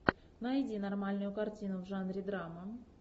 найди нормальную картину в жанре драма